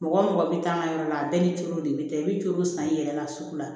Mɔgɔ mɔgɔ bɛ taa n ka yɔrɔ la a bɛɛ ni cew de bɛ taa i bɛ jolo san i yɛrɛ la sugu la